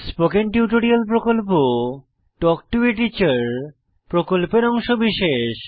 spoken tutorial প্রকল্প talk to a teacher প্রকল্পের অংশবিশেষ